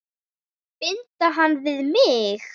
Binda hana við mig.